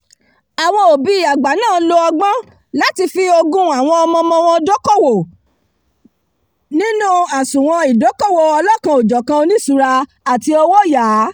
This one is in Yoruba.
àwọn òbí àgbà náà lo ọgbọ́n láti fi ogún àwọn ọmọọmọ wọn dókòwò nínú àsùnwọ̀n ìdókòwò ọlọ́kanòjọ̀kan oníṣùúra àti owóyàá